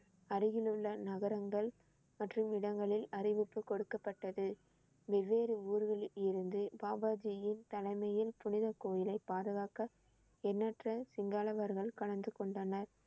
அருகில் உள்ள நகரங்கள் மற்றும் இடங்களில் அறிவிப்பு கொடுக்கப்பட்டது. வெவ்வேறு ஊர்களில் இருந்து பாபா ஜியின் தலைமையில் புனித கோயிலை பாதுகாக்க எண்ணற்ற கலந்து கொண்டனர்